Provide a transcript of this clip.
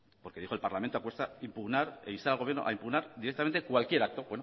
porque dijo el parlamento apuesta impugnar e instar al gobierno a impugnar directamente cualquier acto